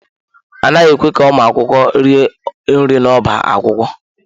A naghị ekwe ka ụmụ akwụkwọ rie nri n'ọbá akwụkwọ.